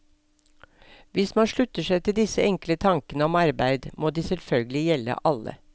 Hvis man slutter seg til disse enkle tankene om arbeid, må de selvfølgelig gjelde alle.